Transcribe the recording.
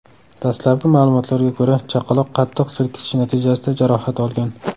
Dastlabki ma’lumotlarga ko‘ra, chaqaloq qattiq silkitish natijasida jarohat olgan.